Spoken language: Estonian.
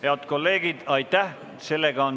Head kolleegid, aitäh!